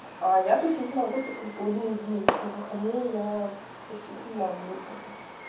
а я тусить могу только в будние дни выходные я тусить не могу